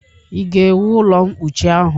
Ị ga-ewu ụlọ mkpuchi ahụ?